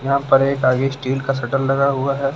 यहाँ पर एक आगे स्टील का शटर लगा हुआ है।